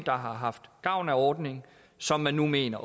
der har haft gavn af ordningen som man nu mener